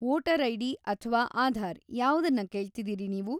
Voter ID. ಅಥ್ವಾ ಆಧಾರ್‌ ಯಾವ್ದನ್ನ ಕೇಳ್ತಿದೀರಿ ನೀವು?